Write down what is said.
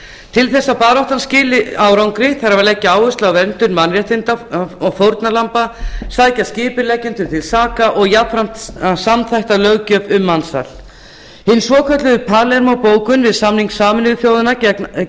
til þess að baráttan skili árangri þarf að leggja áherslu á verndun mannréttinda fórnarlamba sækja skipuleggjendur til saka og jafnframt að samþætta löggjöf ríkja um mansal hinni svokölluðu palermó bókun við samning sameinuðu þjóðanna